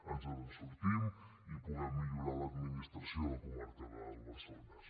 ens en sortim i puguem millorar l’administració a la comarca del barcelonès